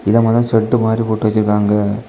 இது மேல ஷெட்டு மாறி போட்டு வச்சிருக்காங்க.